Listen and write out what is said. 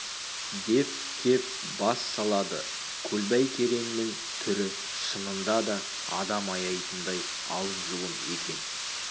деп кеп бас салады көлбай кереңнің түрі шынында да адам аяйтындай алым-жұлым екен